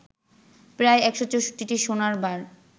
প্রায় ১৬৪টি সোনার বার